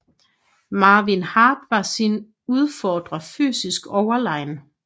Marvin Hart var sin udfordrer fysisk overlegen